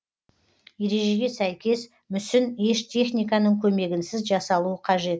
ережеге сәйкес мүсін еш техниканың көмегінсіз жасалуы қажет